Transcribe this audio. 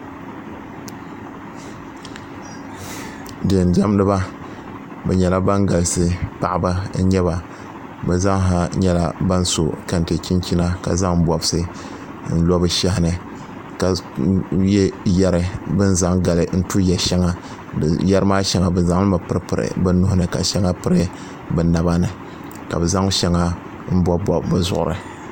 deendiɛmdiba bɛ nyɛla ban galisi paɣiba n-nyɛ ba bɛ zaasa nyɛla ban so kɛnte chinchina ka zaŋ bɔbisi n-lo bɛ shɛhi ni ka ye yɛri bɛ ni zaŋ gali tu yɛ' shɛŋa yɛri maa shɛŋa bɛ zaŋ li mi piripiri bɛ nuhi ni ka shɛŋa piri bɛ naba ni ka bɛ zaŋ shɛŋa m-bɔbibɔbi bɛ zuɣuri